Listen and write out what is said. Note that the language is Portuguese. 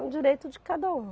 É um direito de cada um.